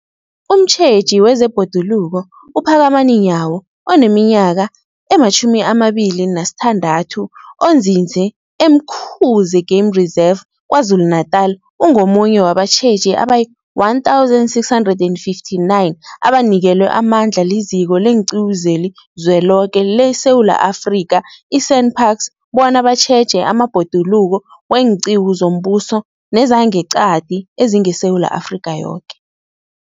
Umtjheji wezeBhoduluko uPhakamani Nyawo oneminyaka ema-26, onzinze e-Umkhuze Game Reserve KwaZulu-Natala, ungomunye wabatjheji abayi-1 659 abanikelwe amandla liZiko leenQiwu zeliZweloke leSewula Afrika, i-SANParks, bona batjheje amabhoduluko weenqiwu zombuso nezangeqadi ezingeSewula Afrika yoke.